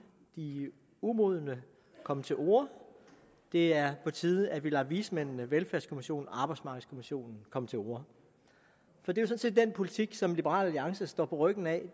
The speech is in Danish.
de umodne komme til orde det er på tide at vi lader vismændene velfærdskommissionen og arbejdsmarkedskommissionen komme til orde for den politik som liberal alliance står på ryggen af